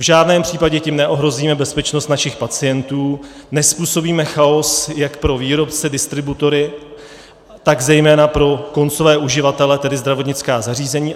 V žádném případě tím neohrozíme bezpečnost našich pacientů, nezpůsobíme chaos jak pro výrobce, distributory, tak zejména pro koncové uživatele, tedy zdravotnická zařízení.